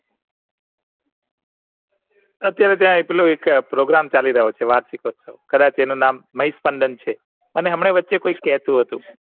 અત્યારે ત્યાં એક પેલો એક Program ચાલી રહ્યો છે કદાચ એનું નામ મેહેશ છે અને હમને વચ્ચે કોઈ જ કેતુ હતું